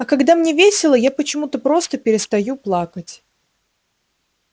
а когда мне весело я почему то просто перестаю плакать